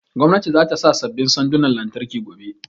Gwamnatin za ta sa sabbin sandunan lantarki gobe